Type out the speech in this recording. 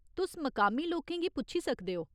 तुस मकामी लोकें गी पुच्छी सकदे ओ।